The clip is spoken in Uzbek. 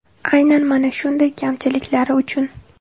Aynan mana shunday kamchiliklari uchun.